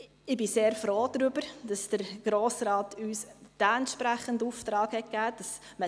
Ich bin sehr froh darüber, dass uns der Grosse Rat diesen entsprechenden Auftrag gegeben hat: